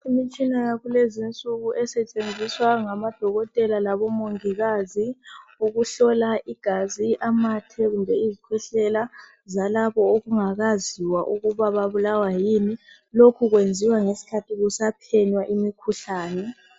Imitshina yakulezi nsuku esetshenziswa ngabo dokotela labomongikazi ukuhlola igazi, amathe kumbe izikhwehlela zalabo okungakaziwa ukuba babulawa yini, lokhu kwenziwa ngeskhathi kusaphenywa imikhuhlani.